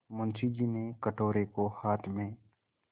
मुंशी जी ने कटोरे को हाथ में